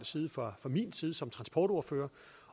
side fra min side som transportordfører